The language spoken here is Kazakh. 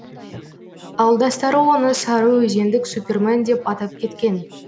ауылдастары оны сарыөзендік супермен деп атап кеткен